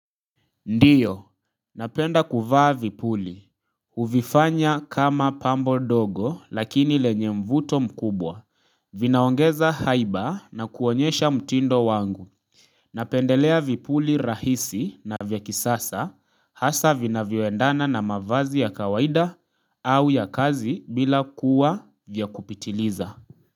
Ndiyo, napenda kuvaa vipuli. Huvifanya kama pambo ndogo lakini lenye mvuto mkubwa. Vinaongeza haiba na kuonyesha mtindo wangu. Napendelea vipuli rahisi na vya kisasa hasa vinavyoendana na mavazi ya kawaida au ya kazi bila kuwa vya kupitiliza.